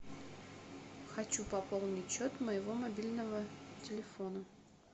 хочу пополнить счет моего мобильного телефона